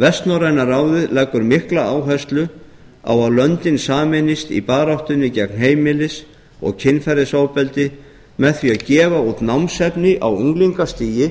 vestnorræna ráðið leggur mikla áherslu á að löndin sameinist í baráttunni gegn heimilis og kynferðisofbeldi með því að gefa út námsefni á unglingastigi